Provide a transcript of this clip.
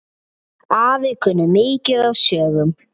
Afi kunni mikið af sögum.